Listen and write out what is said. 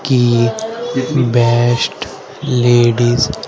की best ladies --